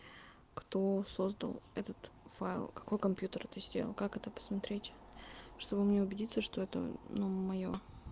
кто создал этот файл какой компьютер это сделал как это посмотреть чтобы мне убедиться что это ну моё